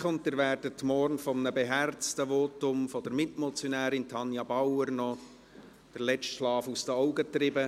Ihnen wird morgen durch ein beherztes Votum der Mitmotionärin Tanja Bauer noch der letzte Schlaf aus den Augen getrieben.